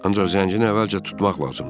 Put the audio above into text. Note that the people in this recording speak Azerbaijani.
Ancaq Zəncini əvvəlcə tutmaq lazımdır.